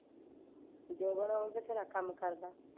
ਜੋਬਨ ਉਹ ਤੇ ਬਥੇਰਾ ਕੰਮ ਕਰਦਾ